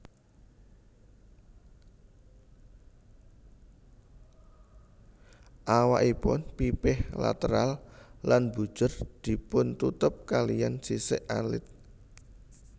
Awakipun pipih lateral lan mbujur dipuntutup kaliyan sisik alit